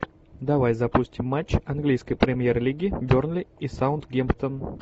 давай запустим матч английской премьер лиги бернли и саутгемптон